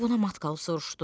O buna matqal soruşdu.